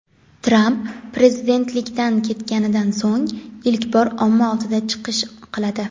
Tramp prezidentlikdan ketganidan so‘ng ilk bor omma oldida chiqish qiladi.